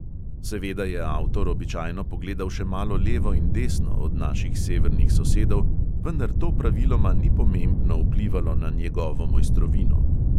Seveda je avtor običajno pogledal še malo levo in desno od naših severnih sosedov, vendar to praviloma ni pomembno vplivalo na njegovo mojstrovino.